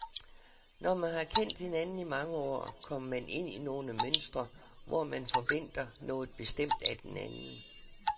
Når man har kendt hinanden i mange år, kommer man ind i nogle mønstre, hvor man forventer noget bestemt af den anden.